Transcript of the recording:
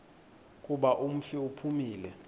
kuba umfi uphumile